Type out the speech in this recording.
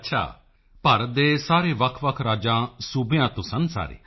ਅੱਛਾ ਭਾਰਤ ਦੇ ਸਾਰੇ ਵੱਖਵੱਖ ਰਾਜਾਂ ਤੋਂ ਸਨ ਸਾਰੇ